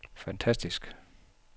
fantastisk